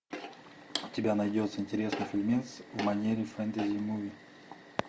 у тебя найдется интересный фильмец в манере фэнтези муви